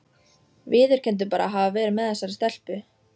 Viðurkenndu bara að hafa verið með þessari stelpu?